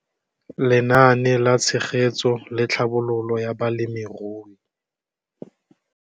Lenaane la Tshegetso le Tlhabololo ya Balemirui